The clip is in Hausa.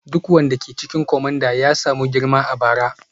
Duk wanda ke cikin kwamandana ya samu girma a bara.